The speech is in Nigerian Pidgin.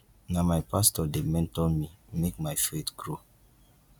na my pastor dey mentor me make my faith grow